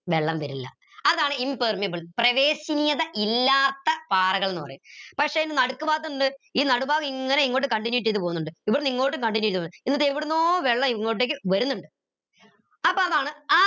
വെള്ളം വരില്ല അതാണ് impermeable പ്രവേശനീയത ഇല്ലാത്ത പാറകൾ എന്ന് പറയും പക്ഷെ നടുക്ക് ഭാഗത്ത് ണ്ട് ഈ നാട് ഭാഗം ഇങ്ങനെ ഇങ്ങോട്ട് continue ചെയ്ത് പൊന്നിണ്ട് ഇവ്ടെന്ന ഇങ്ങോട്ടു continue എന്നിട്ട് എവിടുന്നോ വെള്ളം ഇങ്ങോട്ടേക്ക് വരുന്നിണ്ട് അപ്പൊ അതാണ്